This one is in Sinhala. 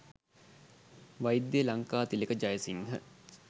වෛද්‍ය ලංකාතිලක ජයසිංහ